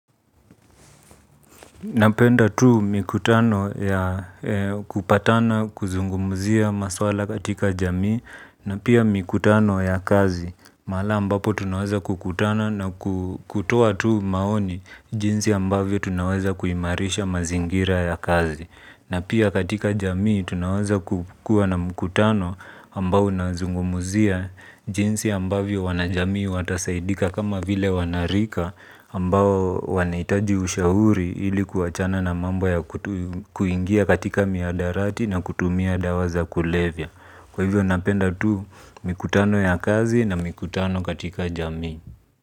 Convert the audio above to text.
Napenda tu mikutano ya kupatana kuzungumuzia maswala katika jamii na pia mikutano ya kazi. Maala ambapo tunaweza kukutana na kutoa tu maoni jinsi ambavyo tunaweza kuimarisha mazingira ya kazi na pia katika jamii tunaweza kukua na mkutano ambao unazungumzia jinsi ambavyo wanajamii watasaidika kama vile wanarika ambao wanaitaji ushahuri ilikuachana na mambo ya kuingia katika miadarati na kutumia dawaza kulevya. Kwa ivo napenda tu mikutano ya kazi na mikutano katika jamii.